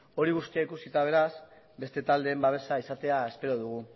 hori guztia ikusita beraz beste taldeen babesa izatea espero dugu